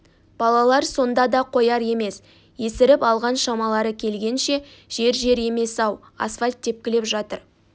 балалар сонда да қояр емес есіріп алған шамалары келгенше жер жер емес-ау асфальт тепкілеп жатыр